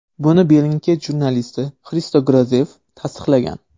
Buni Bellingcat jurnalisti Xristo Grozev tasdiqlagan.